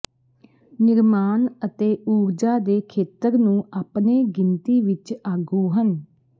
ਨਿਰਮਾਣ ਅਤੇ ਊਰਜਾ ਦੇ ਖੇਤਰ ਨੂੰ ਆਪਣੇ ਗਿਣਤੀ ਵਿਚ ਆਗੂ ਹਨ